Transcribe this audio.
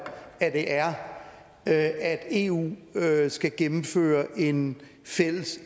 at det er at eu skal gennemføre en fælles